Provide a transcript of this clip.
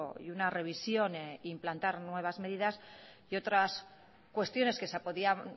y una revisión implantar nuevas medidas y otras cuestiones que se podían